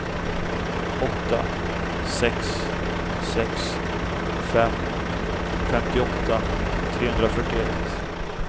åtta sex sex fem femtioåtta trehundrafyrtioett